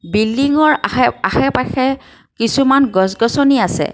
বিল্ডিংৰ আশে আশে পাশে কিছুমান গছ গছনি আছে।